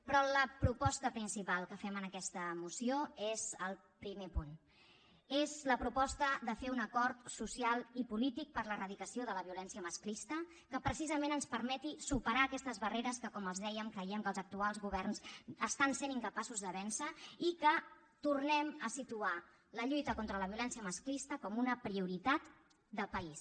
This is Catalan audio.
però la proposta principal que fem en aquesta moció és el primer punt és la proposta de fer un acord so cial i polític per a l’eradicació de la violència masclista que precisament ens permeti superar aquestes barreres que com els dèiem creiem que els actuals governs estan sent incapaços de vèncer i que tornem a situar la lluita contra la violència masclista com una prioritat de país